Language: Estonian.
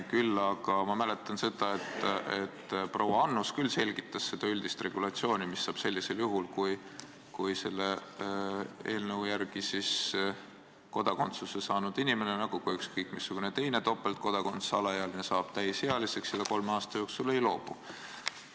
Küll aga mäletan ma seda, et proua Annus selgitas üldist regulatsiooni, mis saab sellisel juhul, kui selle eelnõu järgi kodakondsuse saanud inimene, nagu ka ükskõik missugune teine topeltkodakondsusega alaealine, saab täisealiseks ja ta kolme aasta jooksul teise riigi kodakondsusest ei loobu.